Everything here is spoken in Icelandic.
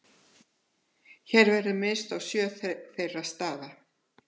Hér verður minnst á sjö þeirra staða.